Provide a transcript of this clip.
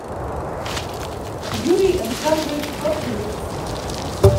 юрий александрович хлопченюк